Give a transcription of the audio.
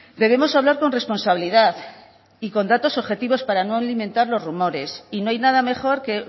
debemos hablar con responsabilidad y con datos objetivos para no alimentar los rumores y no hay nada mejor que